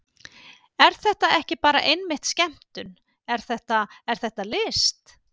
Er þetta ekki bara einmitt skemmtun, er þetta, er þetta list?